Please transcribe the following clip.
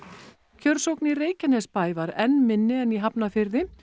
kjörsókn í Reykjanesbæ var enn minni en í Hafnarfirði